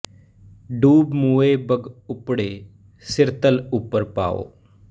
ਡੁਬਿ ਮੁਏ ਬਗੁ ਬਪੁੜੇ ਸਿਰੁ ਤਲਿ ਉਪਰਿ ਪਾਉ